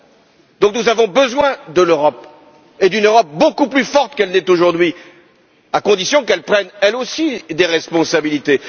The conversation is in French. Par conséquent, nous avons besoin de l'Europe et d'une Europe beaucoup plus forte qu'elle n'est aujourd'hui, à condition qu'elle prenne, elle aussi, des responsabilités.